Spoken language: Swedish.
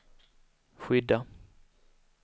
skydda